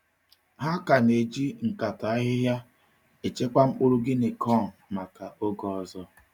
Ha ka na-eji nkata ahịhịa echekwa mkpụrụ guinea corn maka oge ọzọ.